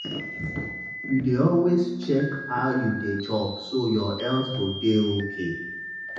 you dey always check how you dey chop so your health go dey okay.